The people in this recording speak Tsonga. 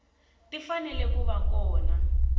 ti fanele ku va kona